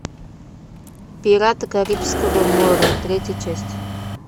пираты карибского моря третья часть